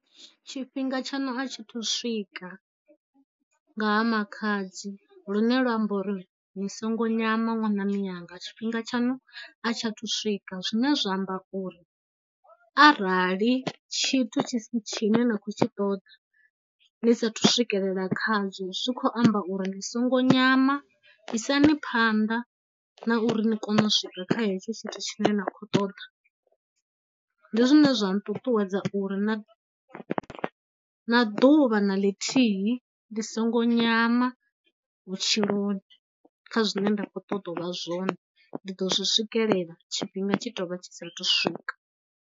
Tshifhinga tshaṋu a tshi thu swika nga ha makhadzi lune lwa amba uri ni songo nyama ṅwana miyanga tshifhinga tshaṋu a tsha thu swika. Zwine zwa amba uri arali tshi thu tshi tshi ne na khou tshi ṱoḓa ni sa thu swikelela kha zwo zwi khou amba uri ndi songo nyama isani phanḓa na uri ni kone u swika kha hetsho tshithu tshine nda khou ṱoḓa, ndi zwine zwa nṱuṱuwedza uri na, na ḓuvha na ḽithihi ndi songo nyama vhutshiloni kha zwine nda khou ṱoḓa u vha zwone, ndi ḓo zwi swikelela, tshifhinga tshi tou vha tshi sa thu swika.